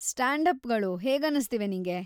Stand ಅಪ್‌ಗಳು ಹೇಗನ್ನಿಸ್ತಿವೆ ನಿಂಗೆ?